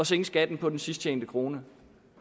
sænke skatten på den sidst tjente krone